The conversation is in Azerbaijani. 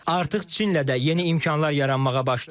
Artıq Çinlə də yeni imkanlar yaranmağa başlayır.